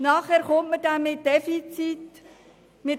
Nachher werden wieder Defizite festgestellt.